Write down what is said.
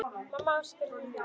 Mamma ásakaði líka sjálfa sig.